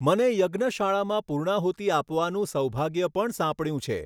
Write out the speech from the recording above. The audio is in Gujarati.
મને યજ્ઞશાળામાં પૂર્ણાહુતિ આપવાનું સૌભાગ્ય પણ સાંપડ્યું છે.